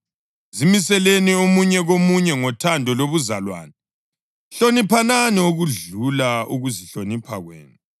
Zimiseleni omunye komunye ngothando lobuzalwane. Hloniphanani okudlula ukuzihlonipha kwenu.